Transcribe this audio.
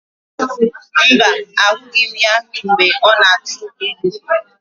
Mba, ahụghị m ya mgbe ọ na-atụ ilu.